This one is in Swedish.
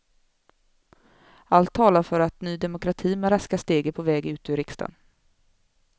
Allt talar för att ny demokrati med raska steg är på väg ut ur riksdagen.